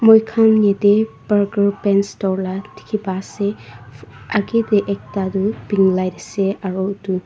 moikhan yatey berger paints store la dikhi pa ase agey tey ekta du pink light ase aru itu.